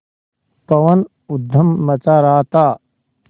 पवन ऊधम मचा रहा था